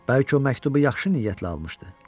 Bəlkə o məktubu yaxşı niyyətlə almışdı.